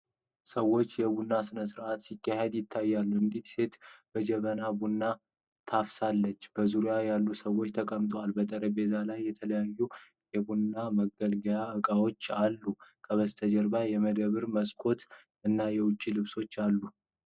ሰዎች የቡና ሥነ ሥርዓት ሲያካሂዱ ይታያሉ። አንዲት ሴት በጀበና ቡና ታፈሳለች፤ በዙሪያዋ ያሉ ሰዎች ተቀምጠዋል። በጠረጴዛው ላይ የተለያዩ የቡና መገልገያ ዕቃዎች አሉ። ከበስተጀርባ የመደብር መስኮት እና የውጭ ልብሶች አሉ።